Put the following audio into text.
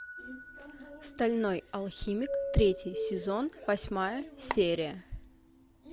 стальной алхимик третий сезон восьмая серия